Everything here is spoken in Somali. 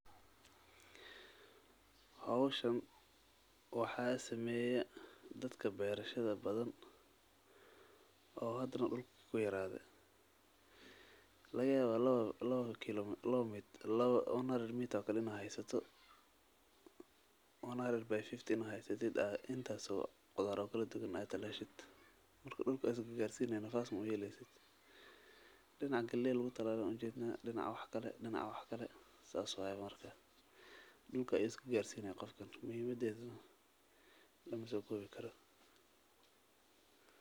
Hawshan waxa sameeyaa dadka beerashada badan oo hadana dhulku ku yaraado. Laga yaabaa 100 meters oo kalena haayaysato 100 by 50 ina haayaysatida inta soo khudaro kala duwan ay talaashay dhulka isku gaarsiiney nafaas mu uhila isid dhinac galiyo lagu talalo unjeedna dhinac wax kale dhinac wax kale saas waay mararka dhulka isku gaarsiiyey qofkan muhiimadeedu la maso gobii karo.